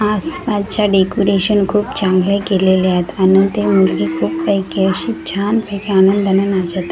आस पास च्या डेकोरेशन खूप चांगल केलेले आहेत आणि ती मुलगी खूप काई काई अशी छान पैकी आनंदान नाचत आहे.